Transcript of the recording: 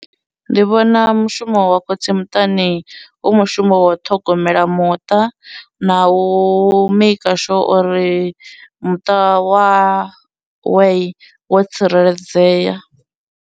Ndi vhona mushumo wa khotsi muṱani u mushumo wa u ṱhogomela muṱa, na u maker sure uri muṱa wa we wo tsireledzeya.